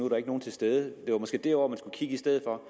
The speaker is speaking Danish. der ikke nogen til stede det var måske derovre man i stedet for